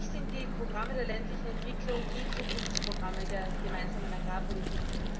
Für mich sind die Programme der ländlichen Entwicklung die Zukunftsprogramme der Gemeinsamen Agrarpolitik.